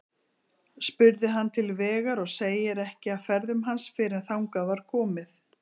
Spurði hann til vegar, og segir ekki af ferðum hans fyrr en þangað var komið.